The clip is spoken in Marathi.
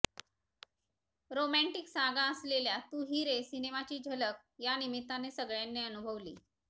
रोमॅंटिक सागा असलेल्या तू ही रे सिनेमाची झलक या निमित्ताने सगळ्यांनी अनुभवली